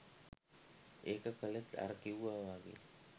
ඒක කළෙත් අර කිව්වා වගේ